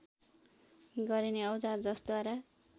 गरिने औजार जसद्वारा